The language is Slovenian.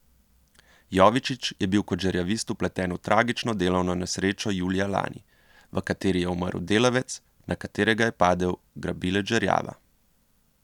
Jovičić je bil kot žerjavist vpleten v tragično delovno nesrečo julija lani, v kateri je umrl delavec, na katerega je padel grabilec žerjava.